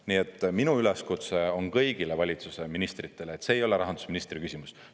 Nii et minu üleskutse on kõigile valitsuse ministritele: see ei ole rahandusministri küsimus.